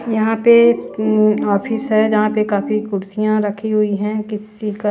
यहां पे um office है जहां पे काफी कुर्सियां रखी हुई है किसी चीज का--